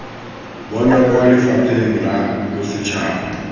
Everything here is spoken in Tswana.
bonwa kwa lefapheng la bosetšhaba